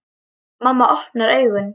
Mamma opnar augun.